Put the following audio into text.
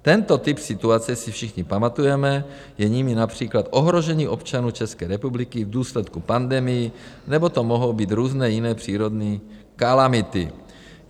Tento typ situace si všichni pamatujeme, je jimi například ohrožení občanů České republiky v důsledku pandemií nebo to mohou být různé jiné přírodní kalamity.